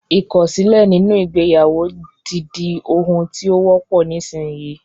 Ìkọ̀sílẹ̀ nínú ìgbéyàwó ti di ohun tí ó wọ́pọ̀ nísinyí